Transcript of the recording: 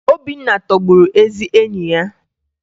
Obinna tọgburu ezi enyi ya